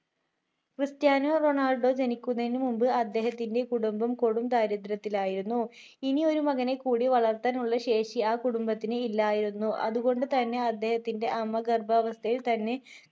Ronaldo Cristiano Ronaldo ജനിക്കുന്നതിനു മുൻപ് അദ്ധേഹത്തിൻ്റെ കുടുംബം കൊടും ദാരിദ്ര്യത്തിലായിരുന്നു ഇനി ഒരു മകനെക്കൂടി വളർത്താനുള്ള ശേഷി ആ കുടുംബത്തിനില്ലായിരുന്നു അതുകൊണ്ട് തന്നെ അദ്ദേഹത്തിൻ്റെ അമ്മ ഗർഭാവസ്ഥയിൽ തന്നെ